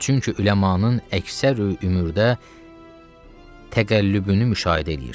Çünki üləmanın əksər ömürdə təqəllübünü müşahidə eləyirdi.